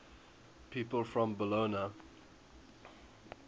people from bologna